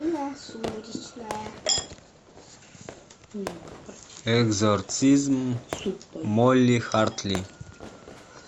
экзорцизм молли хартли